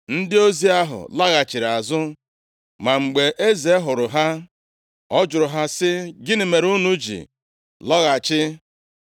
Ndị ozi ahụ laghachiri azụ. Ma mgbe eze hụrụ ha, ọ jụrụ ha sị, “Gịnị mere unu ji lọghachi?”